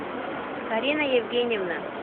карина евгеньевна